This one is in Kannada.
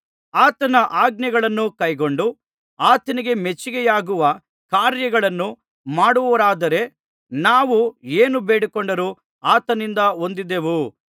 ಆತನ ಆಜ್ಞೆಗಳನ್ನು ಕೈಕೊಂಡು ಆತನಿಗೆ ಮೆಚ್ಚಿಕೆಯಾಗುವ ಕಾರ್ಯಗಳನ್ನು ಮಾಡುವವರಾದರೆ ನಾವು ಏನು ಬೇಡಿಕೊಂಡರೂ ಆತನಿಂದ ಹೊಂದುವೆವು